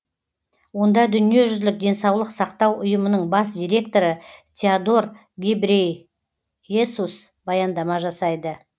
онда дүниежүзілік денсаулық сақтау ұйымының бас директоры теодор гебрей есус баяндама жасайды